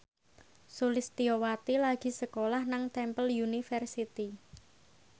Sulistyowati lagi sekolah nang Temple University